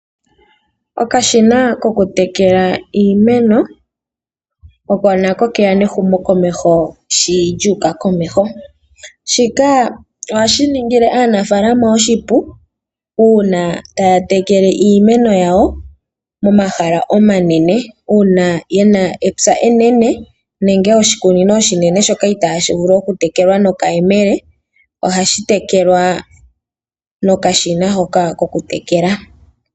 Okashina kokutekela iimeno oko nako ke ya nehumokomeho shi lyu uka komeho. Shika ohashi ningile aanafaalama oshipu uuna taya tekele iimeno yawo momahala omanene uuna ye na epya enene nenge oshikunino oshinene shoka itashi vulu okutekelwa nokayemele ohashi tekelwa nokashina hoka kokutekela.